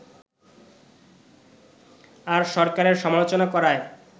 আর সরকারের সমালোচনা করায়